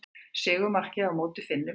Sigurmarkið á móti Finnum í haust.